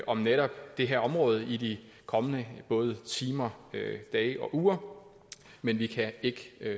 om netop det her område i de kommende både timer dage og uger men vi kan ikke